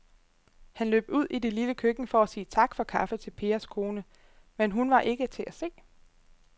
Han løb ud i det lille køkken for at sige tak for kaffe til Pers kone, men hun var ikke til at se.